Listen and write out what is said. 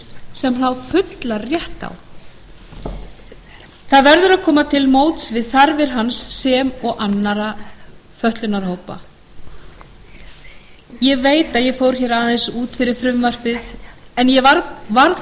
sem hann á fullan rétt á það verður að koma til móts við þarfir hans sem og annarra fötlunarhópa ég veit að ég fór hérna aðeins út fyrir frumvarpið en ég varð bara að